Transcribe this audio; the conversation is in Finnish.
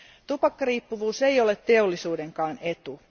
Tupakkariippuvuus ei ole teollisuudenkaan etu.